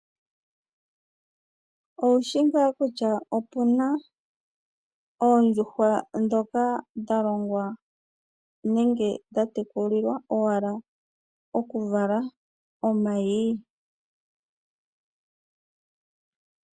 Owushi nga kutya opuna oondjuhwa dhoka dhalongwa nenge dha tekulilwa owala oku vala omayi ?